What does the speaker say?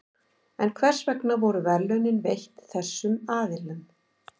en hvers vegna voru verðlaunin veitt þessum aðilum